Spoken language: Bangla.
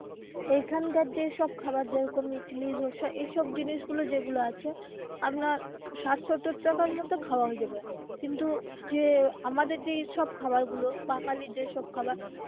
এইখান কার যেসব খাবার যেরকম ইডলি ধোসা এই সব জিনিস গুলো যে গুলো আছে আপনার ষাট সত্তর টাকার মধ্যে হয়ে যাবে কিন্তু যে আমাদের যে সব খাবার গুলো বাঙালির যেসব খাবার.